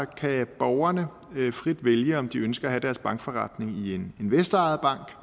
kan borgerne frit vælge om de ønsker at have deres bankforretning i en investorejet bank